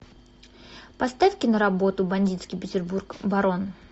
поставь киноработу бандитский петербург барон